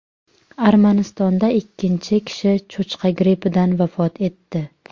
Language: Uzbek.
Armanistonda ikkinchi kishi cho‘chqa grippidan vafot etdi.